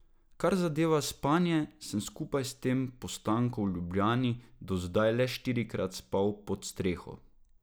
Kar zadeva spanje, sem skupaj s tem postankom v Ljubljani do zdaj le štirikrat spal pod streho.